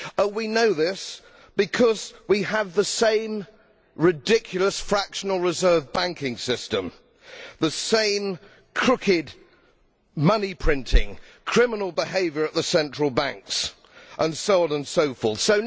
We know this because we have the same ridiculous, fractional reserve banking system, the same crooked, money printing, criminal behaviour at the central banks, and so on and so forth.